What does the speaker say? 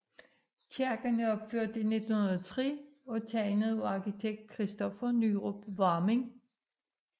Kirken er opført i 1903 og tegnet af arkitekt Kristoffer Nyrup Varming